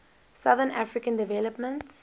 southern african development